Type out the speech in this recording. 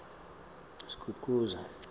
skukuza